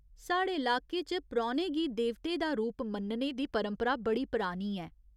साढ़े लाके च परौह्‌ने गी देवते दा रूप मन्नने दी परंपरा बड़ी परानी ऐ।